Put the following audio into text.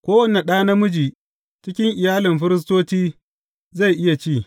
Kowane da namiji cikin iyalin firistoci zai iya ci.